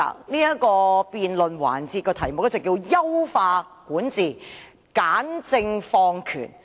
這項辯論環節的議題為"優化管治、簡政放權"。